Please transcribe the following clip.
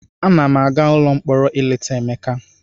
Ana m aga ụlọ mkpọrọ ileta Emeka.